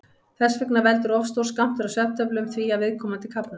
Þess vegna veldur of stór skammtur af svefntöflum því að viðkomandi kafnar.